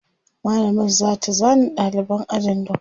mallamar zata zana ɗaliban ajin duka